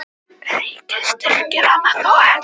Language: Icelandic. Ríkið styrkir hana þó enn.